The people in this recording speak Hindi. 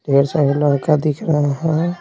ढेर सारा लड़का दिख रहा है।